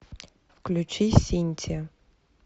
включи синтия